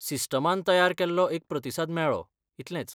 सिस्टमान तयार केल्लो एक प्रतिसाद मेळ्ळो, इतलेंच.